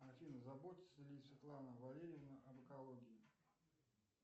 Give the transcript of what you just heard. афина заботится ли светлана валерьевна об экологии